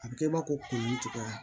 A bɛ kɛ i b'a fɔ ko kunnu cogoya